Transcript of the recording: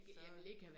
Så